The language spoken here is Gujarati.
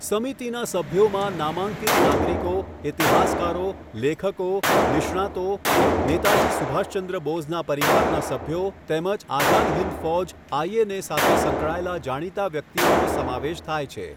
સમિતિના સભ્યોમાં નામાંકિત નાગરિકો, ઇતિહાસકારો, લેખકો, નિષ્ણાતો, નેતાજી સુભાષચંદ્ર બોઝના પરિવારના સભ્યો, તેમજ આઝાદ હિન્દ ફૌજ આઈએનએ સાથે સંકળાયેલા જાણીતા વ્યક્તિઓનો સમાવેશ થાય છે.